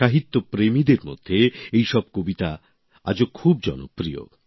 সাহিত্যপ্রেমীদের মধ্যে এইসব কবিতা আজও খুব জনপ্রিয়